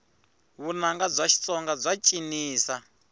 vunanga bya xitsonga bya cinisa